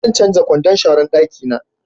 Zan canja kwandon sharan dakina